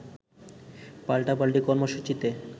পাল্টাপাল্টি কর্মসূচিতে